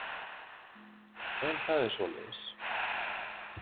En það er svoleiðis.